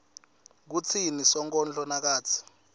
kutsini sonkondlo nakatsi